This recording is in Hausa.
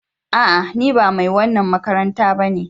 A'a! Ni ba mai wannan makaranta ba ne.